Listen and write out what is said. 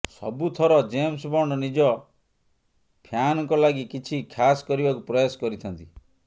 ସବୁଥର James Bond ନିଜ ଫ୍ୟାନ୍ଙ୍କ ଲାଗି କିଛି ଖାସ୍ କରିବାକୁ ପ୍ରୟାସ କରିଥାନ୍ତି